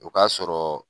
O ka sɔrɔ